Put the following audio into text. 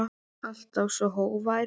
Alltaf svo hógvær.